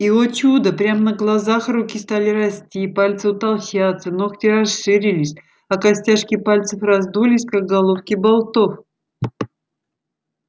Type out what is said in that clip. и о чудо прямо на глазах руки стали расти пальцы утолщаться ногти расширились а костяшки пальцев раздулись как головки болтов